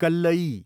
कल्लयी